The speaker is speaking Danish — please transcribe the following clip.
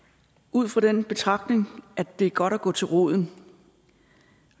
ud fra den betragtning at det er godt at gå til roden